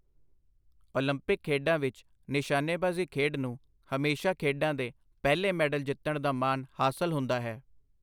Olympic ਖੇਡਾਂ ਵਿੱਚ ਨਿਸ਼ਾਨੇਬਾਜ਼ੀ ਖੇਡ ਨੂੰ ਹਮੇਸ਼ਾ ਖੇਡਾਂ ਦੇ ਪਹਿਲੇ ਮੈਡਲ ਜਿੱਤਣ ਦਾ ਮਾਣ ਹਾਸਲ ਹੁੰਦਾ ਹੈ।